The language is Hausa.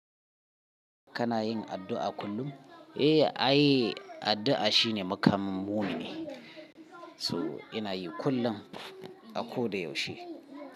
Kana yin addu'a kullum? Eh, aye, addu'a shine makamin mumini. So ina yi kullum a ko da yaushe.